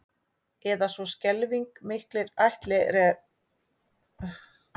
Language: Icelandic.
Eða svo skelfing miklir ættlerar að það lætur barasta ekkert sjá sig lengur